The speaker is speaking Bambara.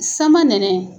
Sama nɛnɛ